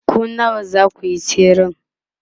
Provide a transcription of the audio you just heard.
ku nawa zakuyi tsere?